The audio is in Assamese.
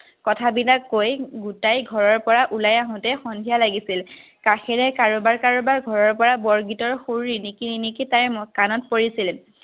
কথাবিলাক কৈ তাইৰ ঘৰৰপৰা ওলাই আহোঁতে সন্ধিয়া লাগিছিল। কাষেৰে কাৰোবাৰ-কাৰোবাৰ ঘৰৰপৰা বৰগীতৰ সুৰ ৰিণিকী ৰিণিকী তাইৰ কাণত পৰিছিল।